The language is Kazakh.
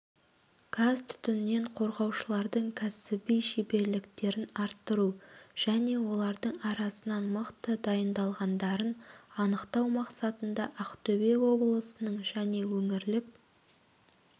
газ-түтіннен қорғаушылардың кәсіби шеберліктерін арттыру және олардың арасынан мықты дайындалғандарын анықтау мақсатында ақтөбе облысының және өңірлік